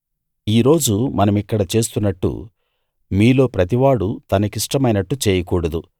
ఈ రోజు మనమిక్కడ చేస్తున్నట్టు మీలో ప్రతివాడూ తనకిష్టమైనట్టు చేయకూడదు